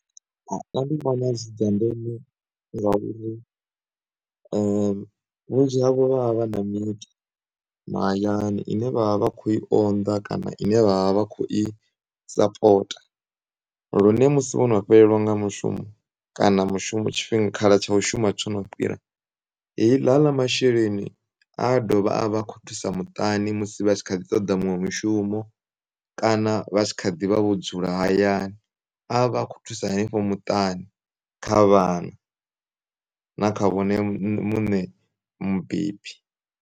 Dzi dza ndeme ngauri vhunzhi havho vha vha vha na miṱa mahayani ine vha vha vhakho i onḓa kana ine vha vha vhakho i sapota. Lune musi vhono fhelelwa nga mushumo, kana mushumo tshifhinga khala tsha u shuma tshono fhira. Heila, haḽa masheleni adovha a avha akhothusa muṱani musi vhakhaḓi ṱoḓa muṅwe mushumo kana vha tshi kha ḓivha vho dzula hayani, a avha akho thusa henefho muṱani kha vhana, na kha vhone muṋe mubebi.